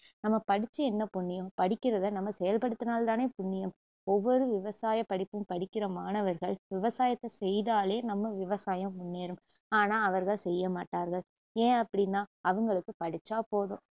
நம்ம படிச்சு என்ன புண்ணியம் படிக்கிறத நம்ம செயல்படுத்தினால் தானே புண்ணியம் ஒவ்வொரு விவசாயப்படிப்பும் படிக்கிற மாணவர்கள் விவசாயத்த செய்தாலே நம்ம விவசாயம் முன்னேறும் ஆனா அவர்கள் செய்ய மாட்டார்கள் ஏன் அப்டின்னா அவங்களுக்கு படிச்சா போதும்